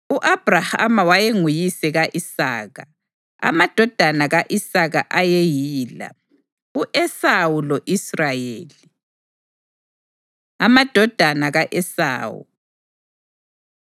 U-Abhrahama wayenguyise ka-Isaka. Amadodana ka-Isaka ayeyila: u-Esawu lo-Israyeli. Amadodana Ka-Esawu